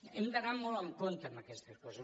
hem d’anar molt en compte amb aquestes coses